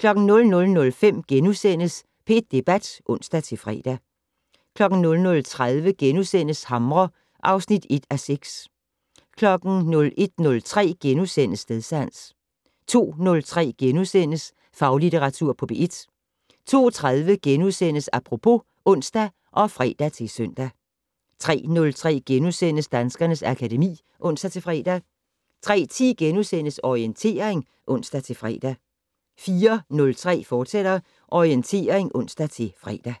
00:05: P1 Debat *(ons-fre) 00:30: Hamre (1:6)* 01:03: Stedsans * 02:03: Faglitteratur på P1 * 02:30: Apropos *(ons og fre-søn) 03:03: Danskernes akademi *(ons-fre) 03:10: Orientering *(ons-fre) 04:03: Orientering, fortsat (ons-fre)